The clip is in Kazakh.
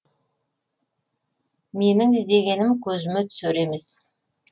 менің іздегенім көзіме түсер емес